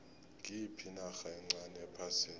ngiyiphi inarha encani ephasini